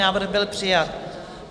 Návrh byl přijat.